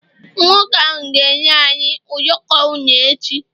nwoke ahu ga enye anyi ụyọkọ une echi